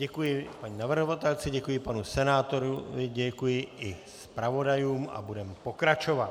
Děkuji paní navrhovatelce, děkuji panu senátorovi, děkuji i zpravodajům a budeme pokračovat.